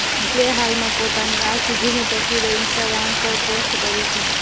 ગુલે હાલમાં પોતાની આ સિદ્ધિની તસવીરો ઇન્ટાગ્રામ પર પોસ્ટ કરી છે